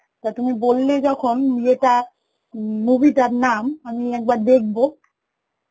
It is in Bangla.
তা তুমি বললে যখন ইয়েটা উম movie তার নাম, আমি একবার দেখব